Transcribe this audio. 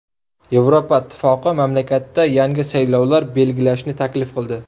Yevropa Ittifoqi mamlakatda yangi saylovlar belgilashni taklif qildi.